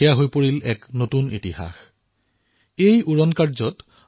এই উৰণত ১০ ভাৰতীয় বায়জেট ইন্ধনৰ মিশ্ৰণ কৰা হৈছিল